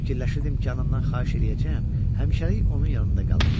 Fikirləşirdim ki, anamdan xahiş eləyəcəyəm, həmişəlik onun yanında qalım.